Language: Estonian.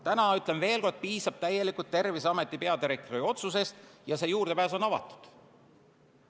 Täna, ütlen veel kord, piisab täielikult Terviseameti peadirektori otsusest ja see juurdepääs on avatud.